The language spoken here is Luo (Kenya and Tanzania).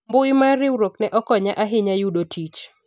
mbui mar riwruok ne okonya ahinya yudo tich